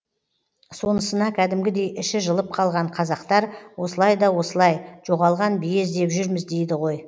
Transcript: сонысына кәдімгідей іші жылып қалған қазақтар осылай да осылай жоғалған бие іздеп жүрміз дейді ғой